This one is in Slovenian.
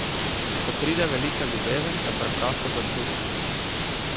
Ko pride velika ljubezen, jo preprosto začutiš.